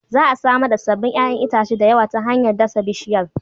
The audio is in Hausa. Za a samar da sabbin 'ƴa'ƴan itace da yawa ta hanyar dasa bishiyar.